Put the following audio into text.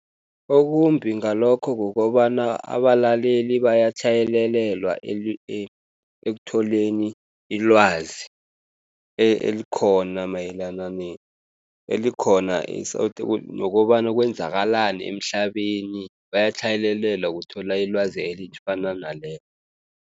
Okumbi ngalokho kukobana abalaleli bayatlhayelelwa ekutholeni ilwazi elikhona mayelana elikhona nokobana kwenzakalani emhlabeni batlhayelelwa ukuthola ilwazi elifana nalelo.